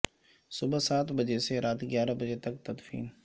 صبح سات بجے سے رات گیارہ بجے تک تدفین